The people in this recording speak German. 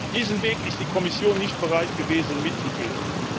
Diesen Weg ist die Kommission nicht bereit gewesen, mitzugehen.